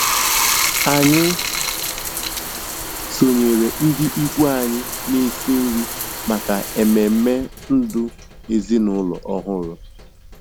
Anyị sonyeere ndị ikwu anyị na-esi nri maka ememe ndụ ezinụlọ ọhụrụ.